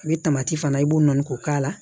A bɛ fana i b'o nɔɔni k'o k'a la